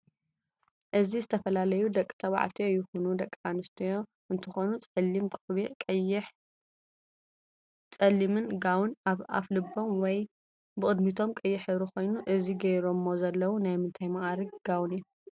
እዚ ዝተፈላለዩ ደቂ ተባዕትዮ ይኩኑ ድቂ ኣንስትዮ እንትኮኑ ፃሊም ቆብዕ ቀይሕን ፀልምን ጋውን ኣብ ኣፍ ልቦም ወይ ብቅድምቶም ቀይሕ ሕብሪ ኮይኑ እዚ ገይሮሞ ዘለው ናይ ምንታይ ማእርግ ጋውን እዩ?